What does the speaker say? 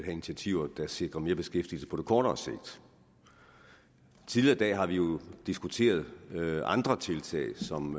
initiativer der sikrer mere beskæftigelse på kortere sigt tidligere i dag har vi jo diskuteret andre tiltag som